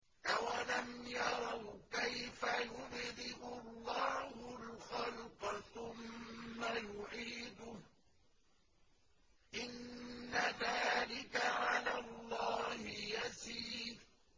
أَوَلَمْ يَرَوْا كَيْفَ يُبْدِئُ اللَّهُ الْخَلْقَ ثُمَّ يُعِيدُهُ ۚ إِنَّ ذَٰلِكَ عَلَى اللَّهِ يَسِيرٌ